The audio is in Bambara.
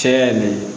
Cɛya nin